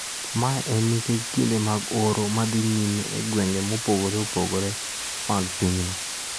Mae en nikech kinde mag oro ma dhi nyime e gwenge mopogre opogre mag pinyno.